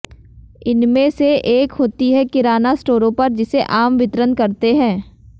इनमें से एक होती है किराना स्टोरों पर जिसे आम वितरण कहते हैं